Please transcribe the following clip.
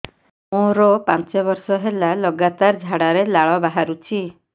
ମୋରୋ ପାଞ୍ଚ ବର୍ଷ ହେଲା ଲଗାତାର ଝାଡ଼ାରେ ଲାଳ ବାହାରୁଚି